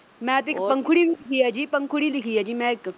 ਮੈਂ ਤੇ ਇੱਕ ਪੰਖੁੜੀ ਵੀ, ਪੰਖੁੜੀ ਲਿਖੀ ਐ ਜੀ ਮੈਂ ਇੱਕ